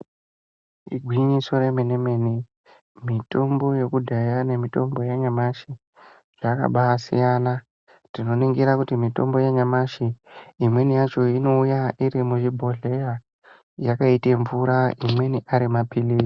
Igwinyiso remene mene mitombo yekudhaya nemitombo yanyamushi yakabaasiyana. Tikaningira mitombo yanyamashi imweni yacho inouya iri mumabhodhleya yakaite mvura. Imweni ari maphirizi.